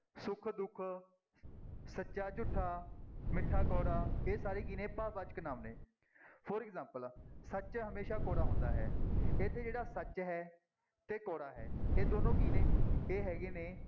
ਸੁੱਖ-ਦੁੱਖ, ਸੱਚਾ-ਝੂਠਾ, ਮਿੱਠਾ-ਕੌੜਾ, ਇਹ ਸਾਰੇ ਕੀ ਨੇ ਭਾਵਵਾਚਕ ਨਾਂਵ ਨੇ for example ਸੱਚ ਹਮੇਸ਼ਾ ਕੌੜਾ ਹੁੰਦਾ ਹੈ, ਇੱਥੇ ਜਿਹੜਾ ਸੱਚ ਹੈ ਤੇ ਕੌੜਾ ਹੈ, ਇਹ ਦੋਨੋਂ ਕੀ ਨੇ, ਇਹ ਹੈਗੇ ਨੇ